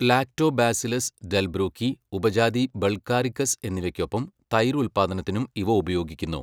Lactobacillus delbrueckii ഉപജാതി bulgaricus എന്നിവയ് ക്കൊപ്പം തൈര് ഉൽപാദനത്തിനും ഇവ ഉപയോഗിക്കുന്നു.